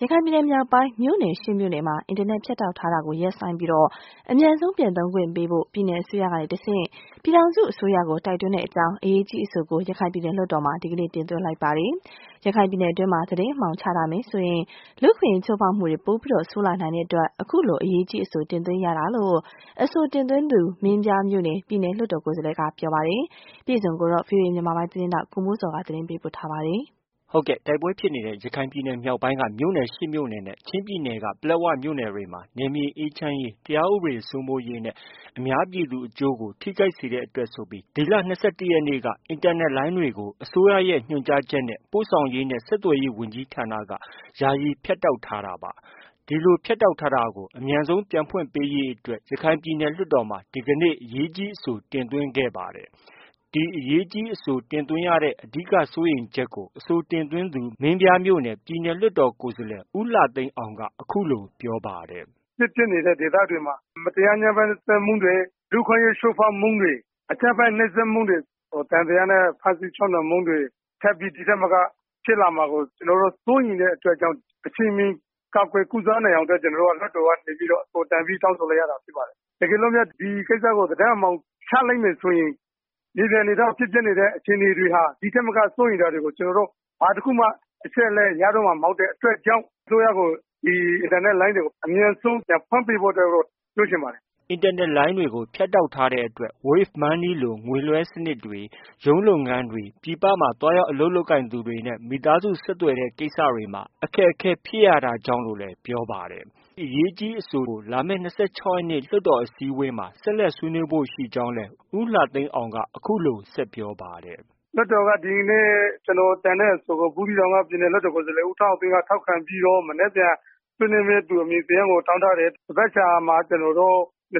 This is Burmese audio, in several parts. ရခိုင်ပြည်နယ် မြောက်ပိုင်း မြို့နယ် ရှစ်မြို့နယ်မှာ အင်တာနက် ဖြတ်တောက်ထားတာကို ရပ်ဆိုင်းပြီး အမြန်ဆုံး ပြန်သုံးခွင့်ပေးဖို့ ပြည်နယ်အစိုးရကတဆင့် ပြည်ထောင်စုအစိုးရကို တိုက်တွန်းကြောင်း အရေးကြီး အဆိုကို ရခိုင်ပြည်နယ် လွှတ်တော်မှာ ဒီကနေ့ တင်သွင်းလိုက်ပါတယ်။ ရခိုင်ပြည်နယ်အတွင်းမှာ သတင်းအမှောင် ချထားမယ်ဆိုရင် လူ့အခွင့်အရေး ချိုးဖောက်မှုတွေ ပိုပြီး ဆိုးလာနိုင်တဲ့အတွက် အခုလို အရေးကြီးအဆို တင်သွင်းရတာလို့ အဆိုတင်သွင်းသူ မင်းပြားမြို့နယ် ပြည်နယ်လွှတ်တော် ကိုယ်စားလှယ်က ပြောပါတယ်။ ဒီသတင်းကိုတော့ ဗွီအိုအေမြန်မာပိုင်းရဲ့ သတင်းထောက် ကိုမိုးဇော်က တင်ပြထားပါတယ်။ တိုက်ပွဲဖြစ်နေတဲ့ ရခိုင်ပြည်နယ် မြောက်ပိုင်းက မြို့နယ် ရှစ်မြို့နယ်နဲ့ ချင်းပြည်နယ်က ပလက်ဝမြို့နယ်တွေမှာ နယ်မြေ အေးချမ်းရေး၊ တရားဥပဒေစိုးမိုးရေးနဲ့ အများပြည်သူအကျိုးကို ထိခိုက်စေတဲ့အတွက်ဆိုပြီး ဒီလ ၂၁ ရက်နေ့က စတင်ပြီး အင်တာနက်လိုင်းတွေကို အစိုးရရဲ့ ညွှန်ကြားချက်နဲ့ ပို့ဆောင်ရေးနဲ့ ဆက်သွယ်ရေး ဝန်ကြီးဌာနက ယာယီ ဖြတ်တောက်ထားတာပါ။ ဒီလို ပိတ်ထားတာကို အမြန်ဆုံး ပြန်ဖွင့်ပေးဖို့အတွက် ရခိုင်ပြည်နယ် လွှတ်တော်မှာ ဒီကနေ့ အရေးကြီးအဆို တင်သွင်းတာ ဖြစ်ပါတယ်။ ဒီအရေးကြီးအဆို တင်သွင်းရတဲ့ အဓိက စိုးရိမ်ချက်ကို အဆိုတင်သွင်းသူ မင်းပြားမြို့နယ် ပြည်နယ်လွှတ်တော် ကိုယ်စားလှယ် ဦးလှသိန်းအောင်က အခုလို ပြောပါတယ်။ “စစ်ဖြစ်နေတဲ့ဒေသတွေမှာ မတရား ဖိနှိပ်မှုတွေ၊ လူ့အခွင့်အရေး ချိုးဖောက်မှုတွေ၊ အကြမ်းဖက် နှိပ်စက်မှုတွေ၊ သံသယနဲ့ ချုပ်နှောင်ဖမ်းဆီးမှုတွေ ထပ်ပြီး ဒီထက်မက ဖြစ်လာမှာကို စိုးရိမ်တဲ့အတွက်ကြောင့် အချိန်မီ ကာကွယ် ကုစားနိုင်ဖို့အတွက် ကျနော်တို့ လွှတ်တော်ကနေပြီး တင်ပြ တောင်းဆိုလိုက်ရတာ ဖြစ်ပါတယ်။ တကယ်လို့များ ဒီကိစ္စကို သတင်း အမှောင်ချလိုက်မယ်ဆိုရင် မြေပြင်အနေအထားမှာ ဖြစ်ပျက်နေတဲ့ အခြေအနေတွေဟာ ဒီထက်မက စိုးရိမ်စရာတွေကို ကျနော်တို့ ဘာတခုမှ အချက်အလက် ရတော့မှာ မဟုတ်တဲ့အတွက်ကြောင့် အစိုးရကို ဒီအင်တာနက်လိုင်းတွေကို အမြန်ဆုံး ပြန်ဖွင့်ပေးဖို့အတွက် ပြောချင်ပါတယ်။” အင်တာနက်လိုင်းတွေကို ဖြတ်တောက်ထားတဲ့အတွက် Wave money လို ငွေလွဲှတဲ့စနစ်တွေ၊ ရုံးလုပ်ငန်းကိစ္စတွေ၊ ပြည်ပမှာသွားရောက် အလုပ်လုပ်သူတွေနဲ့ မိသားစုဆက်သွယ်တဲ့ ကိစ္စတွေမှာ အခက်အခဲ ဖြစ်ရတာကြောင့်လို့လည်း ပြောပါတယ်။ အရေးကြီးအဆိုကို လာမယ့် ၂၆ရက်နေ့ လွှတ်တော်အစည်းအဝေးမှာ ဆက်လက်ဆွေးနွေးဖု့ိ ရှိကြောင်းလည်း ဦးလှသိန်းအောင်က အခုလို ဆက်ပြောပါတယ်။ “လွှတ်တော်က ဒီနေ့ ကျနော်တင်တဲ့ အဆိုကို ဘူးသီးတောင်က ပြည်နယ်လွှတ်တော် ကိုယ်စားလှယ် ဦးထွန်းအောင်သိန်းက ထောက်ခံပြီးတော့ မနက်ဖြန် ဆွေးနွေးမယ့်သူ အမည်စာရင်းကို တောင်းထားတယ်။ သန်ဘက်ခါမှာ ၂၆ ရ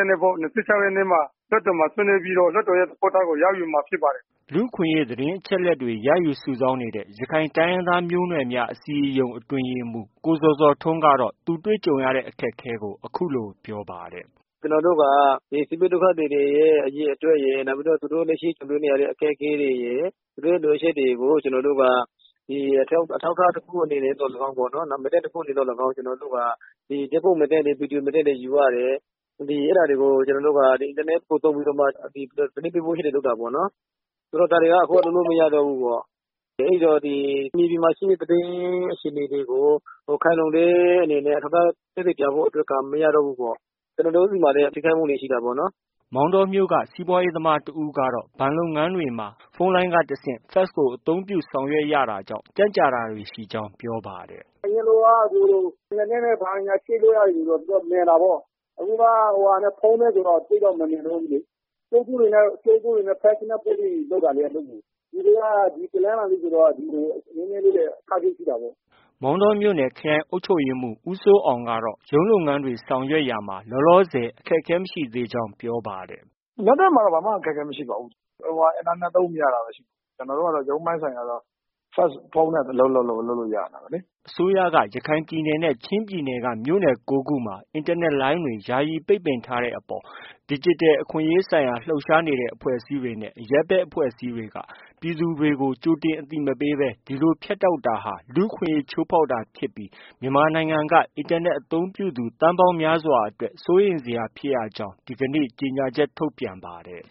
က်နေ့မှာ လွှတ်တော်မှာ ဆွေးနွေးပြီးတော့ လွှတ်တော်ရဲ့ သဘောထားကို ရယူမှာ ဖြစ်ပါတယ်။” လူ့အခွင့်အရေး သတင်းအချက်အလက်တွေ ရယူ စုဆောင်းနေတဲ့ ရခိုင်တိုင်းရင်းသားမျိုးနွယ်များ အစည်းအရုံး အတွင်းရေးမှူး ကိုဇော်ဇော်ထွန်းကတော့ သူတို့ကြုံတွေ့ရတဲ့ အခက်အခဲကို အခုလို ပြောပါတယ်။ “ကျနော်တို့က ဒီစစ်ဘေးဒုက္ခသည်တွေရဲ့ အရေအတွက်ရယ်၊ နောက် သူတို့ လက်ရှိကြုံတွေ့နေရတဲ့ အခက်အခဲတွေရယ် သူတို့ရဲ့ လိုအပ်ချက်တွေကို ကျနော်တို့က အထောက်အထား တခု အနေနဲ့သော်လည်းကောင်း၊ မှတ်တမ်းတခုအနေနဲ့ သော်လည်းကောင်း ဓါတ်ပုံမှတ်တမ်း၊ ဗီဒီယိုမှတ်တမ်းတွေ ယူရတယ်။ အဲဒါတွေကို အင်တာနက်ကို သုံးပြီးတော့မှ သတင်းပေးပို့ချက်တွေ လုပ်တာပေါ့နော်။ ဒါတွေက အခုက လုပ်လို့ မရတော့ဘူးပေါ့။ အဲဒီတော့ မြေပြင်မှာ ရှိနေတဲ့ သတင်း အခြေအနေတွေကို ခိုင်လုံတဲ့အနေနဲ့ သက်သေ အထောက်အထားပြဖို့က မရတော့ဘူးပေါ့။ ကျနော်တို့ ဆီမှာလည်း အများကြီး ထိခိုက်မှုတွေ ရှိတာပေါ့နော်။” မောင်တောမြို့က စီးပွားရေးသမား တဦးကတော့ ဘဏ်လုပ်ငန်းတွေမှာ ဖုန်းလိုင်းက တဆင့် fax ကို အသုံးပြု ဆောင်ရွက်ရတာကြောင့် ကြန့်ကြာတာတွေ ရှိကြောင်း ပြောပါတယ်။ “အရင်လိုက အင်တာနက်နဲ့ ဘာညာ ချိတ်လို့ ရတယ်ဆိုတော့ မြန်တာပေါ့။ အခုက ဖုန်းနဲ့ ဆိုတော့ သိပ်တော့ မမြန်တော့ဘူးလေ။ ကြိုးဖုန်းတွေနဲ့ fax နဲ့ ပို့ပြီးလုပ်တာလေ အလုပ်ကို။ ဒီနေ့က တနင်္လာနေ့ဆိုတော့ နည်းနည်းလေး အခက်အခဲ ရှိတာပေါ့။” မောင်တောမြို့နယ် ခရိုင်အုပ်ချုပ်ရေးမှူး ဦးစိုးအောင်ကတော့ ရုံးလုပ်ငန်းတွေ ဆောင်ရွက်ရာမှာ လောလောဆယ် အခက်အခဲ မရှိသေးကြောင်း ပြောပါတယ်။ “လက်တွေ့မှာ ဘာမှ အခက်အခဲ မရှိပါဘူး။ အင်တာနက် သုံးမရတာဘဲ ရှိတာ။ ကျနော်တို့က ရုံးပိုင်းဆိုင်ရာဆိုတော့ ဖုန်း၊ fax နဲ့ပဲ အလုပ်လုပ်လု့ိရနေတာပဲလေ။” အစိုးရက ရခိုင်ပြည်နယ်နဲ့ ချင်းပြည်နယ်က မြို့နယ် ကိုးခုမှာ အင်တာနက်လိုင်းတွေ ယာယီပိတ်ပင်ထားတဲ့အပေါ်မှာ ဒီဂျစ်တယ် အခွင့်အရေးဆိုင်ရာ လှုပ်ရှားနေတဲ့ အဖွဲ့အစည်းတွေနဲ့ အရပ်ဘက် အဖွဲ့အစည်းတွေက ပြည်သူတွေကို ကြိုတင် အသိမပေးဘဲ ဒီလို ဖြတ်တောက်တာဟာ လူ့ အခွင့်အရေး ချိုးဖောက်တာဖြစ်ပြီး မြန်မာနိုင်ငံက အင်တာနက် အသုံးပြုသူ သန်းပေါင်းများစွာအတွက် စိုးရိမ်စရာဖြစ်ကြောင်း ဒီနေ့ ကြေညာချက် ထုတ်ပြန်ပါတယ်